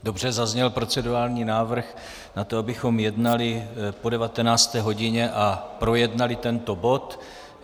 Dobře, zazněl procedurální návrh na to, abychom jednali po 19. hodině a projednali tento bod.